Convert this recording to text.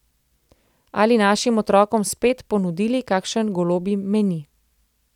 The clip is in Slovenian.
Ali našim otrokom spet ponudili kakšen golobji meni.